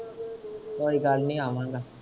ਕੋਈ ਗੱਲ ਨੀ ਆਵਾਗਾ।